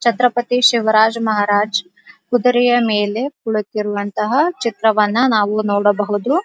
ಛತ್ರಪತಿ ಶಿವಾಜ್ ಮಹಾರಾಜ್ ಕುದುರೆ ಮೇಲೆ ಕುಳಿತಿರುವಂತಹ ಚಿತ್ರವನ್ನು ನಾವು ನೋಡಬಹುದು.